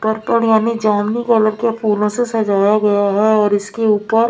purple यानी जामनी colour के फूलों से सजाया गया है और इसके ऊपर --